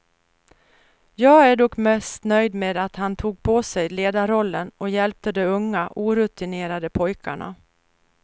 Jag är dock mest nöjd med att han tog på sig ledarrollen, och hjälpte de unga, orutinerade pojkarna.